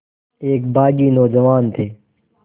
एक बाग़ी नौजवान थे